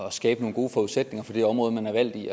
at skabe nogle gode forudsætninger for det område man er valgt i